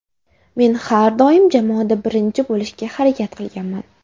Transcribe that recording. Men har doim jamoada birinchi bo‘lishga harakat qilganman.